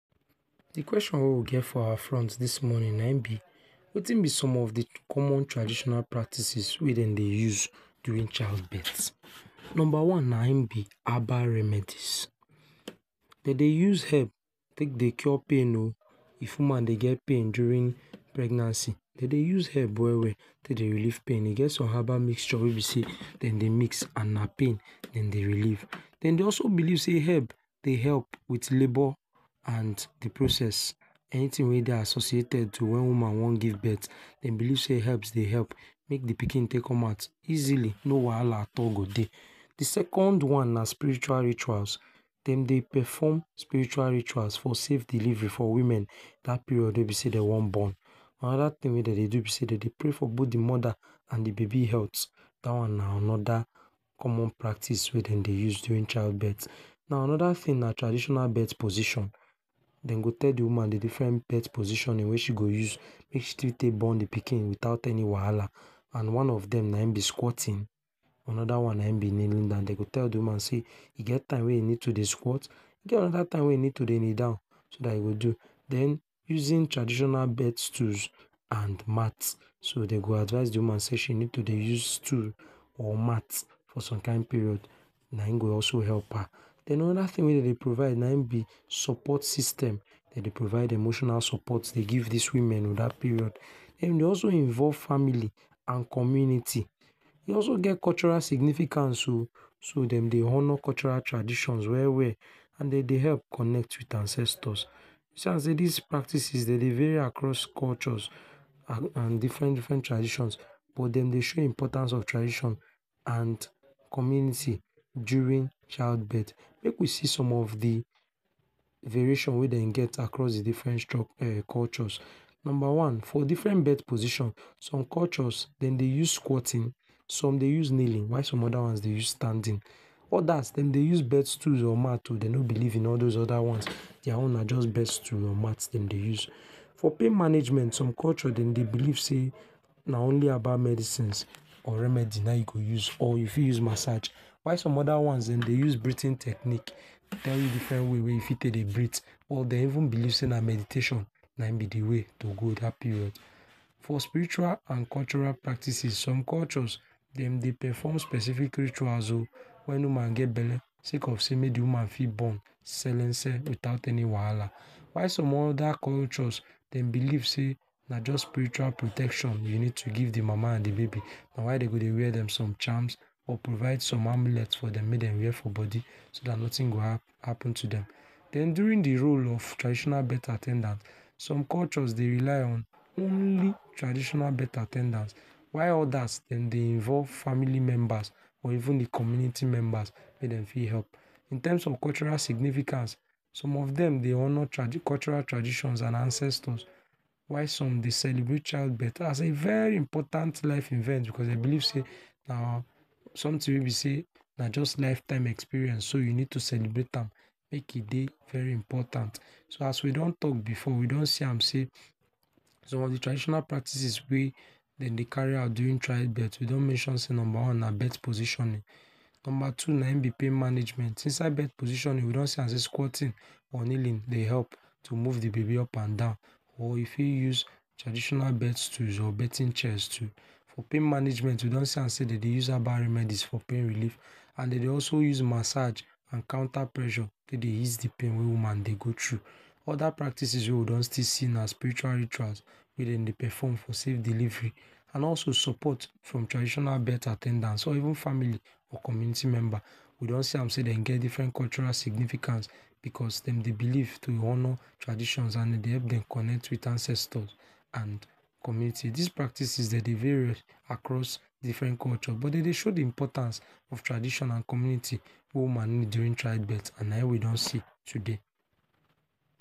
De question wey we get for our front this morning na im be wetin be some of de common traditional practices wey dem dey use during childbirth? Number one na na im be herbal remedies. Dem dey use herbs take dey cure pain oh if woman dey get pain during pregnancy. Dem dey use herbs well well take dey relieve pain like e get some herbal mixture wey you see wey dem dey mix na pain dem dey relief. Dem dey also believe sey herbs dey help with labour and preprocess; anything wey dey associated to when woman wan give birth, dem believe sey, herbs dey help make de pikin take come out easily, no wahala at all go dey. Dem second one na spiritual rituals. Dem dey perform spiritual rituals for safe delivery for women that period wey e be sey wey dem wan born. Another thing wey dem dey do be sey dem dey pray for both de mother and de baby health. That one na another common practice wey dem dey use during child birth. Now another thing na traditional birth position. Dem go tell de woman de different birth position wey she go use wey she go take born de pikin without any wahala, and one of dem na im be squatting, another one na kneeling down. Dem go tell de woman sey, e time wey e go need to squat, e get another time wey e fit need to kneel down e go do. Then using traditional birth tools and mat; so dem go advise de woman sey she needs to dey use tools or mat for some kind period na im go also help her. Then another thing wey dem dey provide na im be support system. Dem dey provide emotional support dey give these woman um that period. Then dey also involve family and community. E also get cultural significance um. dem dey honour cultural traditions well well and dem dey help connect with ancestors. E see am sey these practices dey dey vary across cultures and different different traditions but dem dey show importance of tradition and community during child birth. Make we see some of de variations wey dem get across de different cultures. Number one for different birth position, some cultures dey dey use squatting, some dey use kneeling while some dey use while some other ones dey use standing. Others dem dey use bed stool or mat oh and dem no believe in all those other ones. Their own na just bed stool or mat dem dey use. For pain management some culture dey believe sey a only herbal medicines or remedies na im you go use r you got use massage while some other ones dem dey use Breathing technique tell you different ways wey you fit take dey breathe or dem even believe sey na medication na im be de way to go that period. For spiritual and cultural practices, some cultures dem dey perform specific rituals oh wey woman get belle sey cause sey make de woman fit born selense without my wahala while some other cultures dem believe sey na just spiritual protection you need to give dem mama and de baby. Na why dem go dey wear dem some charms of provide dem some spiritual amulet for dem make dem wear for body so that nothing go happen to dem. Then during de role of tradition birth at ten dant some cultures dey rely on only traditional birth at ten dants while others dem dey involve family members or even de community members wey dem fit help. In terms of cultural significance, some of dem dey honour tra cultural traditions and ancestors while some dey celebrate childbirth as a very important life event because dem believe sey na something wey be sey na jus lifetime experience so you need to celebrate am make de dey very very important. So as we don talk before, we don see am sey some of de traditional practices wey dem dey carry out during childbirth, we don mention sey, number one na birth positioning. Number two na im be pain management. Inside birth positioning we don see am sey squatting or kneeling dey help to move dey baby up and down or e fit use traditional birth tools or birth chairs too. For pain management we don see am sey dem dey use herbal remedies for pain relief Nd dem dey also use massage and counter pressure take dey ease de pain wey dey woman take dey go through. Other practices wey we do still see na spiritual rituals wey dem dey perform for save delivery and also support from traditional birth at ten dants, some even family or community member. We don see am sey dem get different cultural significance because dem dey believe sey to honour transitions and e dey help dem connect with ancestors and community. These practices dey dey vary across different cultures but dey dey show de importance of tradition and community wey woman need during childbirth and na im we don see today.